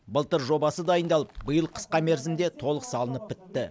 былтыр жобасы дайындалып биыл қысқа мерзімде толық салынып бітті